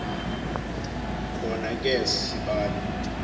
khona ke sibali